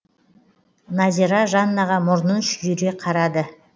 назира жаннаға мұрнын шүйіре қарады